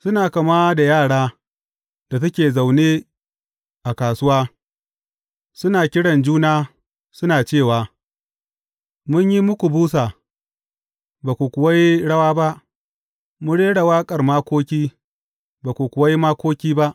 Suna kama da yara da suke zaune a kasuwa, suna kiran juna, suna cewa, Mun yi muku busa, ba ku kuwa yi rawa ba, mun rera waƙar makoki, ba ku kuwa yi makoki ba.’